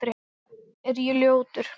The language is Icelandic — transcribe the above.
Er ég ljótur?